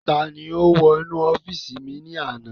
Ta ni ó wọ inú ọ́fìsì mi ní àná?